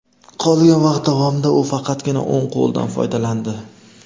Qolgan vaqt davomida u faqatgina o‘ng qo‘lidan foydalandi.